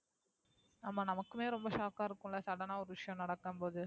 ஆமா நமக்குமே shock ஆ இருக்கும்ல sudden ஆ ஒரு விஷயம் நடக்கும் போது.